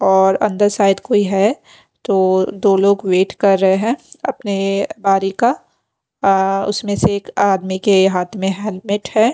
और अंदर शायद कोई है तो दो लोग वेट कर रहे हैं अपनेएए बारी का अ उसमें से एक आदमी के हाथ में हेलमेट है।